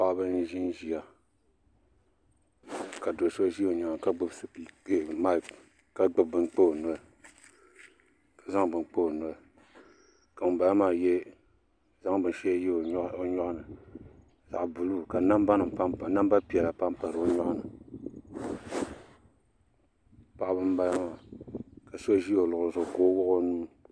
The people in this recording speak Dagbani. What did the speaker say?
Paɣaba n ʒinʒiya ka do so ʒi o nyaanga ka gbubi maik ka zaŋ bini kpa o noli ka ŋunbala maa zaŋ bini shɛli yɛ o nyoɣani zaɣ buluu ka namba piɛla panpa di loŋni paɣaba n bala maa ka so ʒi o luɣuli zuɣu ka o wuɣi o nuu